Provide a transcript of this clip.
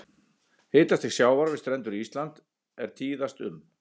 Hitastig sjávar við strendur Íslands er tíðast um